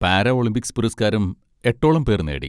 Para Olympics പുരസ്കാരം എട്ടോളം പേർ നേടി.